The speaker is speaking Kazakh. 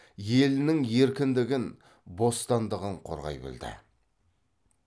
елінің еркіндігін бостандығын қорғай білді